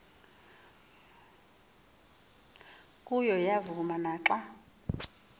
kuyo yavuma naxa